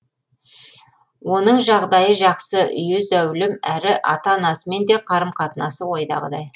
оның жағдайы жақсы үйі зәулім әрі ата анасымен де қарым қатынасы ойдағыдай